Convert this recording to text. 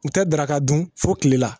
U tɛ daraka dun fo tilela